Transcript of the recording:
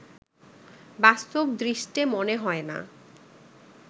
বাস্তব দৃষ্টে মনে হয় না